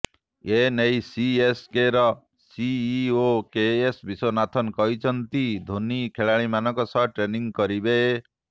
ଏ ନେଇ ସିଏସକେର CEO K ବିଶ୍ୱନାଥନ କହିଛନ୍ତି ଧୋନି ଖେଳାଳିମାନଙ୍କ ସହ ଟ୍ରେନିଂ କରିବେ